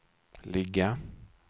ligga